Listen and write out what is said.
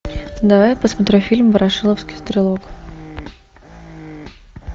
давай посмотрим фильм ворошиловский стрелок